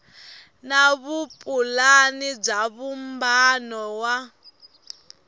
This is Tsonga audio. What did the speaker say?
na vupulani bya vumbano wa